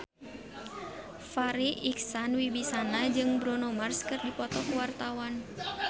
Farri Icksan Wibisana jeung Bruno Mars keur dipoto ku wartawan